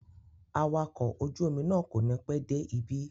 Awakọ̀ ojú-omi náà kò ní pẹ́ dé ibí.